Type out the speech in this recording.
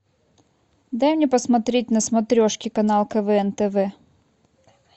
дай мне посмотреть на смотрешке канал квн тв